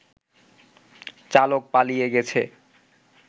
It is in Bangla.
চালক পালিয়ে গেছে